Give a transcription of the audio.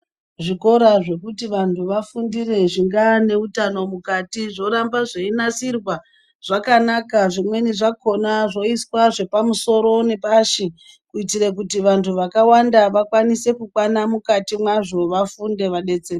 Zvikora zvekuti vanthu vafundire zvingaa neutano mukati zvoramba zveinasirwa zvakanaka zvimweni zvakhona zvoiswa zvepamusoro nepashi kuitire kuti vanthu vakawanda vakwanise kukwana mukati mwazvo vafunde vadetsereke.